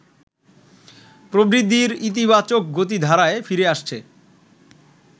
প্রবৃদ্ধির ইতিবাচক গতিধারায় ফিরে আসছে